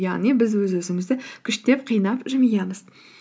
яғни біз өз өзімізді күштеп қинап жымиямыз